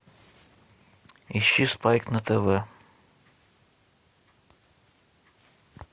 ищи спайк на тв